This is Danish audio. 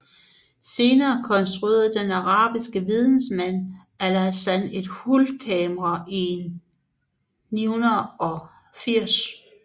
Senere konstruerede den arabiske videnskabsmand Alhazen et hulkamera i 980